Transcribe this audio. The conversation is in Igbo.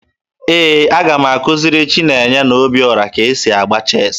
Ee, aga m akụziri Chinenye na Obioro ka e si agba cheesi